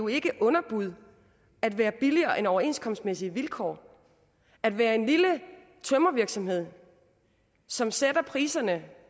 ikke er underbud at være billigere end overenskomstmæssige vilkår at være en lille tømrervirksomhed som sætter priserne